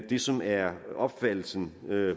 det som er opfattelsen